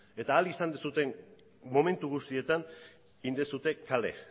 eta ahal izan zuten momentu guztietan egin duzue kale